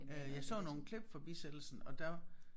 Øh jeg så nogle klip fra bisættelsen og der